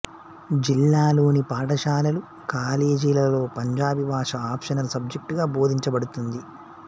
జిల్లాలోని పాఠశాలలు కాలేజీలలో పంజాబీ భాష ఆప్షనల్ సబ్జెక్టుగా బోధించబడుతుంది